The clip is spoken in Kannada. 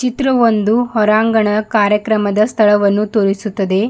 ಇದ್ರೂ ಒಂದು ಹೊರಾಂಗಣ ಕಾರ್ಯಕ್ರಮದ ಸ್ಥಳವನ್ನು ತೋರಿಸುತ್ತದೆ.